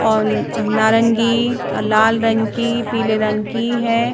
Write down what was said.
और नारंगीलाल रंग कीपीले रंग की है।